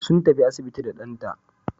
Sun tafi asibiti da ɗanta.